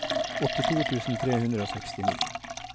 åttito tusen tre hundre og sekstini